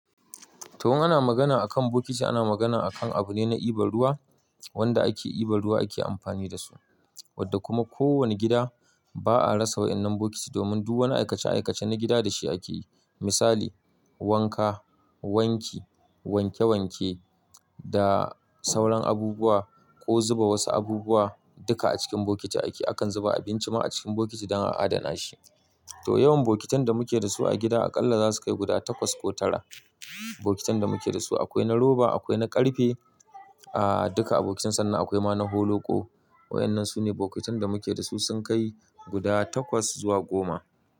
To, in ana magana a kan bokiti, ana magana a kan abu ne na iban ruwa wanda ake iba ruwa ake amfani da su. Wadda kuma ko wani gida ba a rasa wa'innan bokiti domin duk wani aikace-aikace na gida da shi ake yi. Misali, wanka, wanki, wanke wanke da sauran abubuwa ko zuba wasu abubuwa duka a cikin bokiti ake. Akan zuba abinci ma a cikin bokiti don a adana shi. To yawan bokitan da muke da su a gida aƙalla za su kai guda takwas ko tara. Bokitan da muke da su akwai na roba, akwai na ƙarfe, duka abokitan sannan akwai ma na holoƙo. Wa'innan su ne bokitan da muke da su sun kai guda takwas zuwa goma.